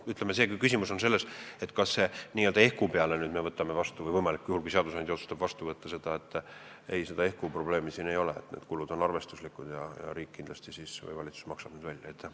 Kui küsimus on selles, kas n-ö ehku peale hakkab seadusandja seda vastu võtma, siis ei, seda probleemi siin ei ole, need kulud on arvestuslikud ja riik või valitsus maksab need tasud kindlasti välja.